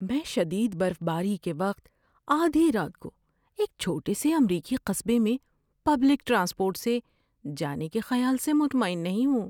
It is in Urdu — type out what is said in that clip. میں شدید برف باری کے وقت آدھی رات کو ایک چھوٹے سے امریکی قصبے میں پبلک ٹرانسپورٹ سے جانے کے خیال سے مطمئن نہیں ہوں۔